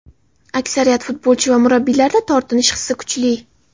Aksariyat futbolchi va murabbiylarda tortinish hissi kuchli.